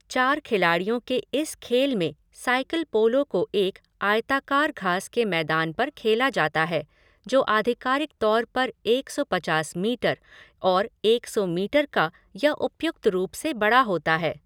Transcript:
चार खिलाडियों के इस खेल में साइकिल पोलो को एक आयताकार घास के मैदान पर खेला जाता है जो आधिकारिक तौर पर एक सौ पचास मीटर और एक सौ मीटर का या उपयुक्त रूप से बड़ा होता है।